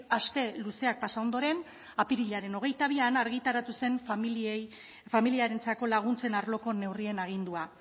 aste luzeak pasa ondoren apirilaren hogeita bian argitaratu zen familiarentzako laguntzen arloko neurrien agindua